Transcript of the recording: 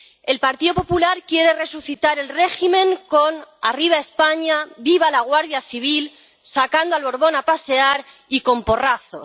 El Partido Popular quiere resucitar el régimen con Arriba España, Viva la Guardia Civil, sacando al Borbón a pasear y con porrazos.